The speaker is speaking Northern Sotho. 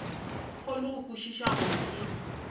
kgone go kwešiša gore ke